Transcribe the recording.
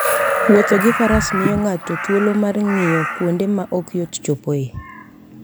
Wuotho gi faras miyo ng'ato thuolo mar ng'iyo kuonde ma ok yot chopoe.